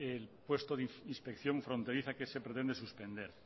el puesto de inspección fronteriza que se pretende suspender